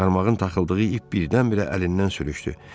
Qarmağın taxıldığı ip birdən-birə əlindən sürüşdü.